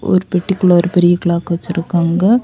ஒரு பெட்டி குள்ள ஒரு பெரிய கிளாக் வெச்சிருக்குராங்க.